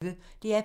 DR P1